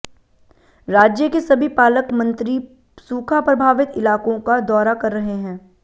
राज्य के सभी पालकमंत्री सूखा प्रभावित इलाकों का दौरा कर रहे हैं